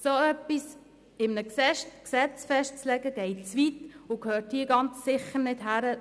So etwas in einem Gesetz festzulegen, geht zu weit und gehört ganz sicher nicht hierhin.